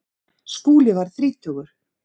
Skúli varð þrítugur.